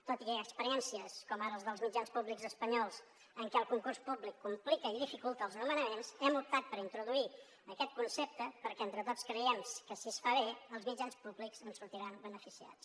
tot i experiències com ara la dels mitjans públics espanyols en què el concurs públic complica i dificulta els nomenaments hem optat per introduir aquest concepte perquè entre tots creiem que si es fa bé els mitjans públics en sortiran beneficiats